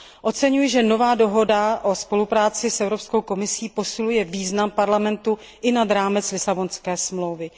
Oceňuji, že nová dohoda o spolupráci s Evropskou komisí posiluje význam Parlamentu i nad rámec Lisabonské smlouvy.